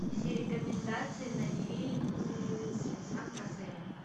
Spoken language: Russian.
все рекомендации на фильмы с венсан касселем